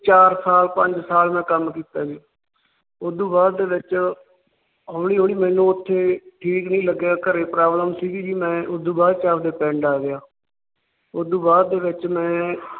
ਚਾਰ ਸਾਲ ਪੰਜ ਸਾਲ ਮੈ ਕੰਮ ਕੀਤਾ ਜੀ। ਉਸ ਤੋਂ ਬਾਅਦ ਦੇ ਵਿੱਚ ਹੋਲੀ ਹੋਲੀ ਮੈਨੂੰ ਉੱਥੇ ਠੀਕ ਨਹੀਂ ਲੱਗਿਆ ਘਰੇ Problem ਸੀ। ਮੈ ਆਪਣੇ ਪਿੰਡ ਆ ਗਿਆ ਉਸ ਤੋਂ ਬਾਅਦ ਦੇ ਵਿੱਚ ਮੈ